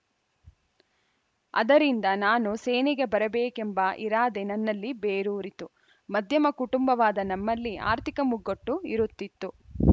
ಅದರಿಂದ ನಾನು ಸೇನೆಗೆ ಬರಬೇಕೆಂಬ ಇರಾದೆ ನನ್ನಲ್ಲಿ ಬೇರೂರಿತು ಮಧ್ಯಮ ಕುಟುಂಬವಾದ ನಮ್ಮಲ್ಲಿ ಆರ್ಥಿಕ ಮುಗ್ಗಟ್ಟು ಇರುತ್ತಿತ್ತು